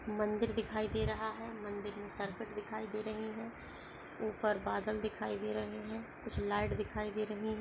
मंदिर दिखाई दे रहा है मंदिर में सर्किट दिखाई दे रही है ऊपर बादल दिखाई दे रहे है। कुछ लाइट दिखाई दे रही--